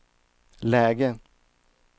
läge